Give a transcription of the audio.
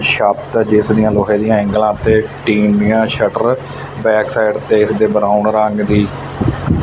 ਛੱਤ ਤੇ ਦਿਸ ਦਿਆਂ ਲੋਹੇ ਦਿਆਂ ਏਂਗਲਾਂ ਤੇ ਟੀਂਨ ਦਿਆਂ ਸ਼ਟਰ ਬੈਕਸਾਈਡ ਤੇ ਇੱਕ ਦੇ ਬਰਾਊਨ ਰੰਗ ਦੀ--